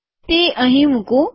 તે અહીં મુકું